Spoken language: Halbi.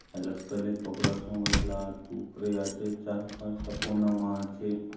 हय लगे तले कपड़ा सोंगाय ला आत ऊपरे आचे चार- पांच टा कोना मा आचे।